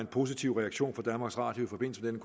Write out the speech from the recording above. positiv reaktion fra danmarks radio i forbindelse med